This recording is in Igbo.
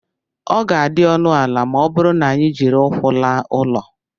ọ ga-adị ọnụ ala ma ọ bụrụ na anyị jiri ụkwụ laa ụlọ